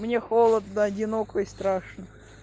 мне холодно одиноко и страшно